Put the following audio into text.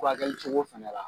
cogo fana la